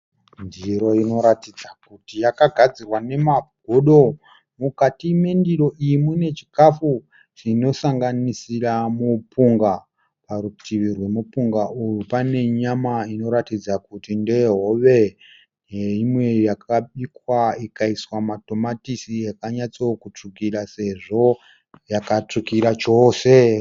Ndiro inoratidza kuti yakagazirwa nemagodo. Mukati mendiro iyi mune chikafu chinosanganisira mupunga. Parutivi rwemupunga uyu pane nyama inoratidza kuti ndeye hove neimwe yakabikwa ikaisiwa matomatisi yakatsotsvukira sezvo yakatsvukira chose.